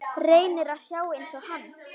Reynir að sjá einsog hann.